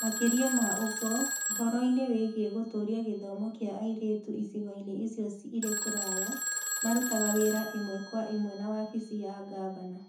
Makĩria ma ũguo, ũhoro-inĩ wĩgiĩ gũtũũria gĩthomo kĩa airĩtu icigo-inĩ icio irĩ kũraya, marutaga wĩra ĩmwe kwa ĩmwe na wabici ya gavana.